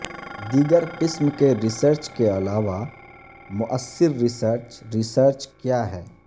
دیگر قسم کے ریسرچ کے علاوہ موثر ریسرچ ریسرچ کیا ہے